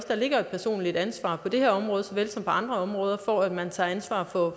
der ligger et personligt ansvar på det her område så vel som på andre områder for at man tager ansvar